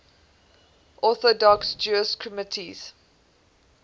orthodox jewish communities